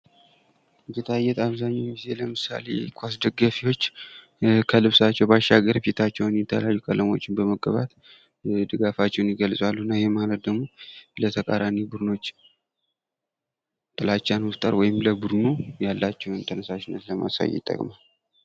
ጌጣጌጣ አብዛኛውን ጊዜ አሁን ለምሳሌ የኳስ ደጋፊዎች ከልብሳቸው ባሻገር ፊታቸውን የተለያዩ ቀለማት በመቀባት ድጋፋቸውን ይገልጻሉ እና ይሄ ማለት ለተቃራኒ ቡድኖች ጥላቻን መፍጠር ወይም ለቡድኑ ያላቸውን ተነሳሽነት ለማሳየት ይጠቅማል።